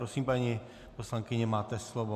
Prosím, paní poslankyně, máte slovo.